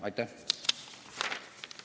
Aitäh!